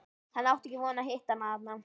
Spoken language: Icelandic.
Hann átti ekki von á að hitta hana þarna.